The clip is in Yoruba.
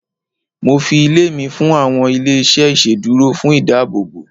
mo fi ilé mi fún àwọn ilé iṣẹ iṣeduro fún ìdáàbòbò